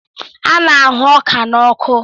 A na-ahụ ọka n'ọkụ